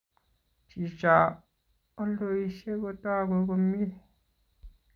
Chicho oldoishei kotogu komyei